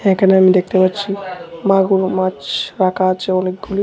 এখানে আমি দেখতে পাচ্ছি মাগুর মাছ রাখা আছে অনেকগুলি।